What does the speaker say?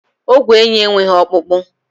Ogwé ènyị́ enweghị ọkpụkpụ.